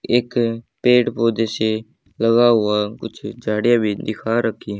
एक पेड़ पौधे से लगा हुआ कुछ झाड़ियां दिखा रखी--